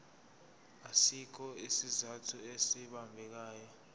asikho isizathu esibambekayo